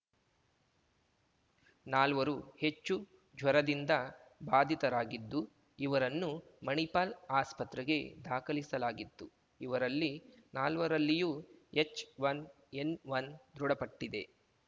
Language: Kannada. ನಾಲ್ವರು ಹೆಚ್ಚು ಜ್ವರದಿಂದ ಬಾಧಿತರಾಗಿದ್ದು ಇವರನ್ನು ಮಣಿಪಾಲ್ ಆಸ್ಪತ್ರೆಗೆ ದಾಖಲಿಸಲಾಗಿತ್ತು ಇವರಲ್ಲಿ ನಾಲ್ವರಲ್ಲಿಯೂ ಎಚ್‌ಒನ್ ಎನ್‌ಒನ್ ದೃಢಪಟ್ಟಿದೆ